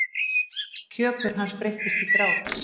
Kjökur hans breytist í grát.